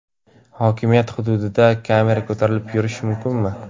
Hokimiyat hududida kamera ko‘tarib yurish mumkinmi?